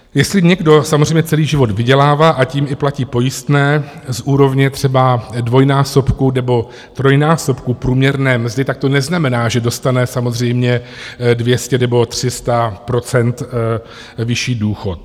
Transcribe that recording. Jestli někdo samozřejmě celý život vydělává a tím i platí pojistné z úrovně třeba dvojnásobku nebo trojnásobku průměrné mzdy, tak to neznamená, že dostane samozřejmě 200 nebo 300 % vyšší důchod.